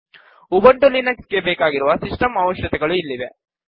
Ubuntu Linux ಗೆ ಬೇಕಾಗಿರುವ system ಅವಶ್ಯಕತೆಗಳು ಇಲ್ಲಿವೆ